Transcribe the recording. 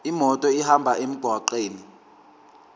imoto ihambe emgwaqweni